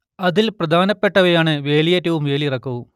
അതിൽ പ്രധാനപ്പെട്ടതാണ് വേലിയേറ്റവും വേലിയിറക്കവും